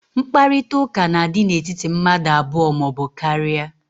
Mkparịta ụka na-adị n'etiti mmadụ abụọ ma ọ bụ karịa.